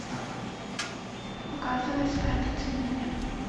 показывай спрятаться негде